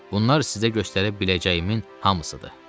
Bunlar sizə göstərə biləcəyimin hamısıdır.